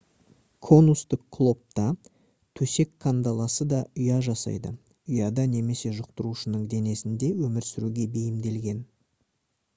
конустық клоп та төсек кандаласы да ұя жасайды ұяда немесе жұқтырушының денесінде өмір сүруге бейімделген